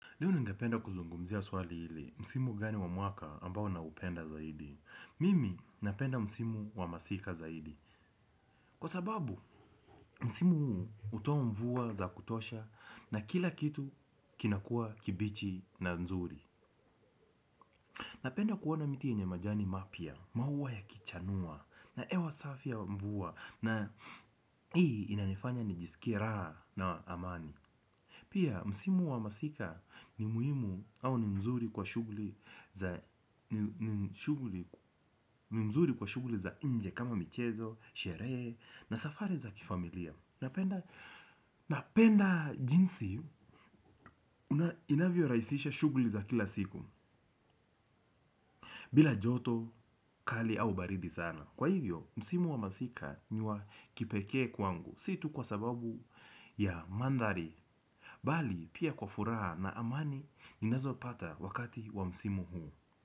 Leo ningependa kuzungumzia swali hili, msimu gani wa mwaka ambao naupenda zaidi. Mimi napenda msimu wa masika zaidi. Kwa sababu, msimu huu hutoa mvua za kutosha na kila kitu kinakuwa kibichi na nzuri. Napenda kuona miti yenye majani mapya, maua yakichanua na hewa safi ya mvua na hii inanifanya nijisikie na amani. Pia msimu wa masika ni muhimu au ni mzuri kwa shughuli za nje kama michezo, sherehe na safari za kifamilia. Napenda napenda jinsi inavyorahisisha shughuli za kila siku. Bila joto kali au baridi sana kwa hivyo msimu wa masika ni wa kipekee kwangu. Si tu kwa sababu ya mandhari bali pia kwa furaha na amani ninazopata wakati wa msimu huu.